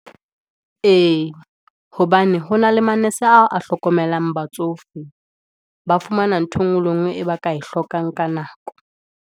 E, hobane ho na le manese oa a hlokomelang batsofe, ba fumana nthwe e ngwe le e ngwe, e ba ka e hlokang ka nako.